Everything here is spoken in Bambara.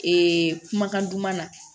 Ee kumakan duman na